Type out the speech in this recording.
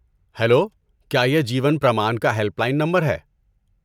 Hello! کیا یہ جیون پرمان کا ہیلپ لائن نمبر ہے؟